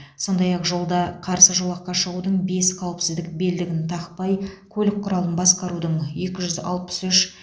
сондай ақ жолда қарсы жолаққа шығудың бес қауіпсіздік белдігін тақпай көлік құралын басқарудың екі жүз алпыс үш